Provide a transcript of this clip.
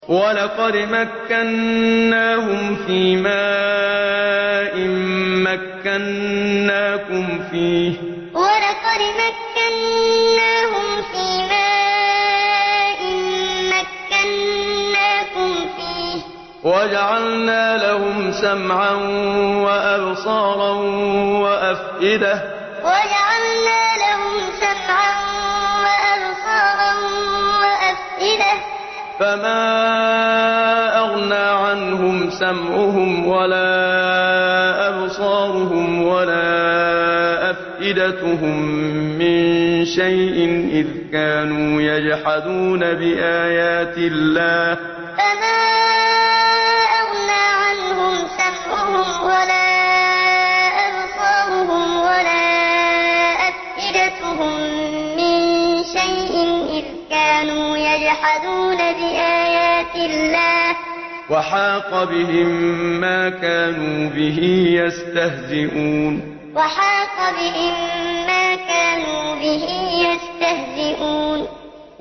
وَلَقَدْ مَكَّنَّاهُمْ فِيمَا إِن مَّكَّنَّاكُمْ فِيهِ وَجَعَلْنَا لَهُمْ سَمْعًا وَأَبْصَارًا وَأَفْئِدَةً فَمَا أَغْنَىٰ عَنْهُمْ سَمْعُهُمْ وَلَا أَبْصَارُهُمْ وَلَا أَفْئِدَتُهُم مِّن شَيْءٍ إِذْ كَانُوا يَجْحَدُونَ بِآيَاتِ اللَّهِ وَحَاقَ بِهِم مَّا كَانُوا بِهِ يَسْتَهْزِئُونَ وَلَقَدْ مَكَّنَّاهُمْ فِيمَا إِن مَّكَّنَّاكُمْ فِيهِ وَجَعَلْنَا لَهُمْ سَمْعًا وَأَبْصَارًا وَأَفْئِدَةً فَمَا أَغْنَىٰ عَنْهُمْ سَمْعُهُمْ وَلَا أَبْصَارُهُمْ وَلَا أَفْئِدَتُهُم مِّن شَيْءٍ إِذْ كَانُوا يَجْحَدُونَ بِآيَاتِ اللَّهِ وَحَاقَ بِهِم مَّا كَانُوا بِهِ يَسْتَهْزِئُونَ